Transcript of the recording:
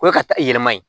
O ye ka taa yɛlɛma ye